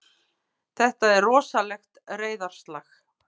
Þetta er rosalegt reiðarslag!